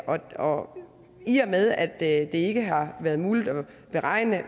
og i og med at det ikke har været muligt at beregne